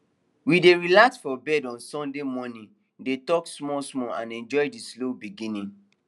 we dey relax for bed on sunday morning dey talk small small and enjoy the slow beginning